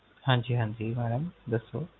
ਹਾਂਜੀ ਹਾਂਜੀ Madam ਦੱਸੋ